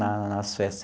Nas festas.